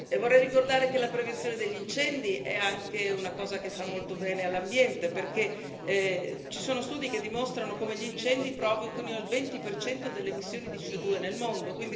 Vorrei ricordare che la prevenzione degli incendi è anche una cosa che fa molto bene all'ambiente, perché ci sono studi che dimostrano come gli incendi provochino il 20 delle emissioni di CO2 nel mondo.